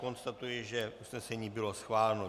Konstatuji, že usnesení bylo schváleno.